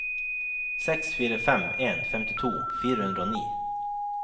seks fire fem en femtito fire hundre og ni